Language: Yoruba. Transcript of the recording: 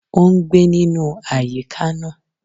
O n gbé nínú àyíká náà